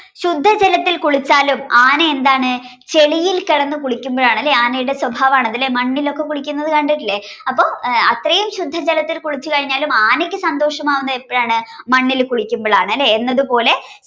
ശുദ്ധ ജലത്തിൽ കുളിച്ചാലും ആന എന്താണ് ചെളിയിൽ കിടന്ന് കുളിക്കുമ്പോ ആണ്‌ ആനയുടെ സ്വഭാവം ആണ്‌ അതല്ലേ മണ്ണിലൊക്കെ കുളിക്കുന്നതു കണ്ടിട്ടില്ലേ അപ്പൊ അത്രേം ശുദ്ധജലത്തിൽ കുളിച്ചു കഴിഞ്ഞാലും ആനക്ക് സന്തോഷം ആവുന്നത് എപ്പോഴാണ്‌ മണ്ണിൽ കുളിക്കുമ്പോഴാണ് അല്ലെ എന്നത് പോലെ